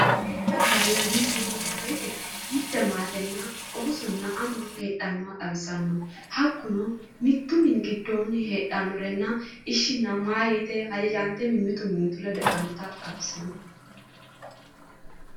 Minenna gallanni mine yine woyre mute maate Oosonna ama heedhannoha xawisanno hakkuno, mittunmini giddoonni heedhannorenna ishinna mahooyye yite hajajjante mimmitu mimmitu ledo heedhannota xawisanno